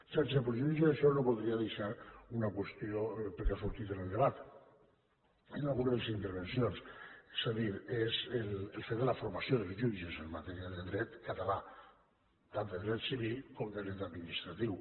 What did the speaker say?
sense perjudici d’això no voldria deixar una qüestió perquè ha sortit en el debat en alguna de les intervencions és a dir és el fet de la formació dels jutges en matèria de dret català tant de dret civil com de dret administratiu